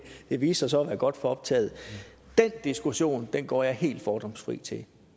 det viste sig så at være godt for optaget den diskussion går jeg helt fordomsfri til